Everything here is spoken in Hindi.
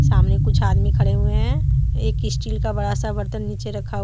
सामने कुछ आदमी खड़े हुए हैं एक स्टील का बड़ा सा बर्तन नीचे रखा हुआ।